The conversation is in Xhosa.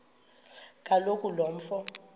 kaloku lo mfo